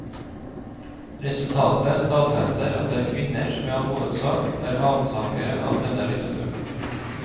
Resultatet stadfester at det er kvinner som i all hovedsak er avtakere av denne litteraturen.